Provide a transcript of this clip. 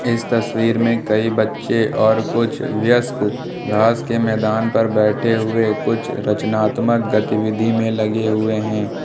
इस तस्वीर में कई बच्चे और कुछ वयस्क घास के मैदान पर बैठे हुए कुछ रचनात्मक गतिविधि में लगे हुए हैं।